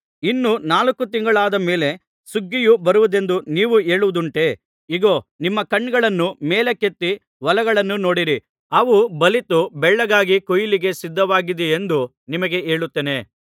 ಇನ್ನೂ ನಾಲ್ಕು ತಿಂಗಳುಗಳಾದ ಮೇಲೆ ಸುಗ್ಗಿಯು ಬರುವುದೆಂದು ನೀವು ಹೇಳುವುದುಂಟಷ್ಟೆ ಇಗೋ ನಿಮ್ಮ ಕಣ್ಣುಗಳನ್ನು ಮೇಲಕ್ಕೆತ್ತಿ ಹೊಲಗಳನ್ನು ನೋಡಿರಿ ಅವು ಬಲಿತು ಬೆಳ್ಳಗಾಗಿ ಕೊಯ್ಲಿಗೆ ಸಿದ್ಧವಾಗಿದೆಯೆಂದು ನಿಮಗೆ ಹೇಳುತ್ತೇನೆ